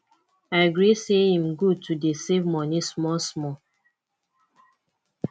i gree say im good to dey save money small small